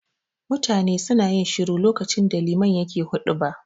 Mutane suna yin shiru lokacin da liman yake huɗuba.